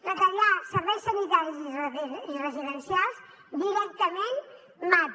retallar serveis sanitaris i residencials directament mata